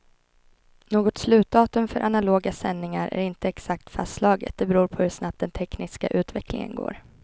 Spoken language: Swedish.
Något slutdatum för analoga sändningar är inte exakt fastslaget, det beror på hur snabbt den tekniska utvecklingen går.